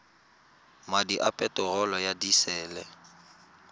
madi a peterolo ya disele